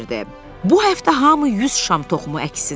Bu həftə hamı 100 şam toxumu əksin.